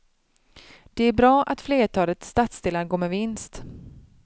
Det är bra att flertalet stadsdelar går med vinst.